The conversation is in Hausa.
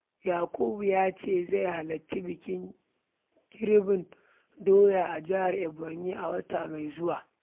Yakubu ya ce zai halarci bikin girbin doya a jihar Ebonyi a wata mai zuwa.